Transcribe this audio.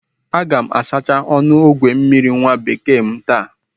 Aga m asachasi ọnụ ogwe mmiri nwabekee m taa